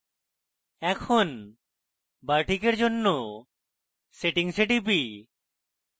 এখন bartik for জন্য settings এ টিপি